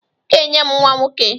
Ị ga-enye m nwa nwoke!